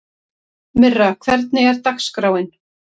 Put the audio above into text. Myrra, hvernig er dagskráin?